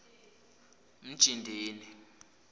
mjindini